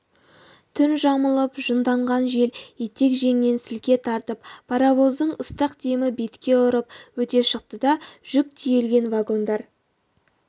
түн жамылып жынданған жел етек-жеңнен сілке тартып паровоздың ыстық демі бетке ұрып өте шықты да жүк тиелген вагондар